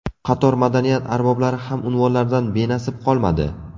Qator madaniyat arboblari ham unvonlardan benasib qolmadi .